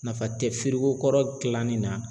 Nafa tɛ kɔrɔ dilanni na